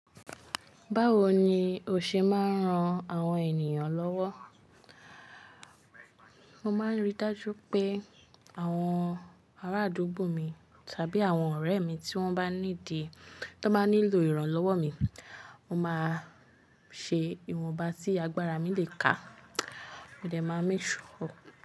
Báwo ni o ṣe máa ń ran àwọn ènìyàn lọ́wọ́? Mo máa ń rí dájú pé àwọn ará àdúgbò mi tàbí àwọn ọ̀rẹ́ mi tí wọ́n bá ní need, tí wọ́n bá nílò ìrànlọ́wọ́ mi, mo máa ṣe ìwọ̀nba tí agbára mi le kà. Mo dẹ̀ máa make sure.